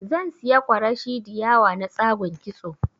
Zan siya kwarashi diyawa na tsagun kitso